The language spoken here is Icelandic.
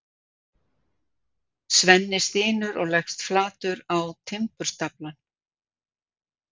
Svenni stynur og leggst flatur á timburstaflann.